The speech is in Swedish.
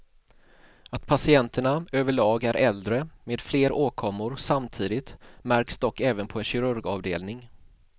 Att patienterna överlag är äldre med fler åkommor samtidigt märks dock även på en kirurgavdelning.